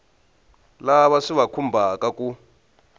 lava swi va khumbhaka ku